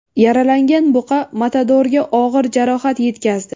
Yaralangan buqa matadorga og‘ir jarohat yetkazdi .